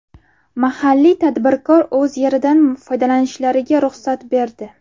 Mahalliy tadbirkor o‘z yeridan foydalanishlariga ruxsat berdi.